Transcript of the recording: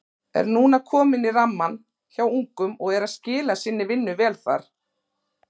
Er núna kominn í rammann hjá ungum og er að skila sinni vinnu vel þar.